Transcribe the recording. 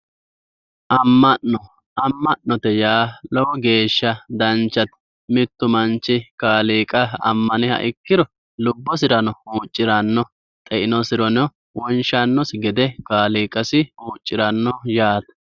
Amma'no amma'note yaa lowo geeshsha danchate mittu manchi Kaaliiqa ammaniha ikkiro lubbosirano huucciranno xeinosireno wonshannosi gede Kaaliiqasi huucciranno yaate.